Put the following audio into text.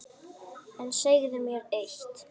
En segðu mér eitt